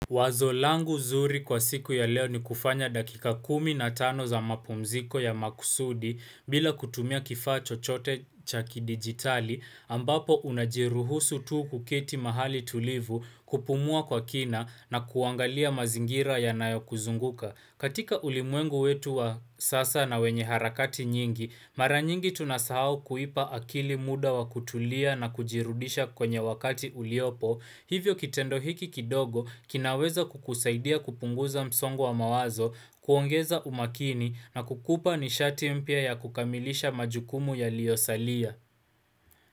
Wazo langu zuri kwa siku ya leo ni kufanya dakika kumi na tano za mapumziko ya makusudi bila kutumia kifaa chochote cha ki digitali ambapo unajiruhusu tuu kukiti mahali tulivu kupumua kwa kina na kuangalia mazingira ya nayo kuzunguka. Katika ulimwengu wetu wa sasa na wenye harakati nyingi, mara nyingi tunasahau kuipa akili muda wa kutulia na kujirudisha kwenye wakati uliopo, hivyo kitendo hiki kidogo kinaweza kukusaidia kupunguza msongo wa mawazo, kuongeza umakini na kukupa nishati mpia ya kukamilisha majukumu yalio salia.